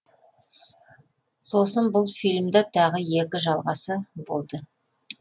сосын бұл фильмда тағы екі жалғасы болды